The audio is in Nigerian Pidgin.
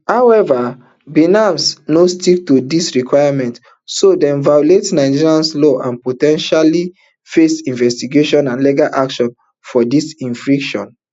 however binance no stick to dis requirements so dem violate nigerian laws and po ten tially face investigation and legal action for dis infraction